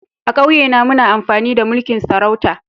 A'kauye na muna amfani da mulki'n sarauta.